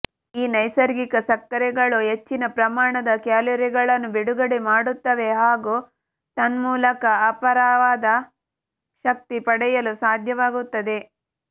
ಈ ನೈಸರ್ಗಿಕ ಸಕ್ಕರೆಗಳು ಹೆಚ್ಚಿನ ಪ್ರಮಾಣದ ಕ್ಯಾಲೋರಿಗಳನ್ನು ಬಿಡುಗಡೆ ಮಾಡ್ತುತವೆ ಹಾಗೂ ತನ್ಮೂಲಕ ಅಪಾರವಾದ ಶಕ್ತಿ ಪಡೆಯಲು ಸಾಧ್ಯವಾಗುತ್ತದೆ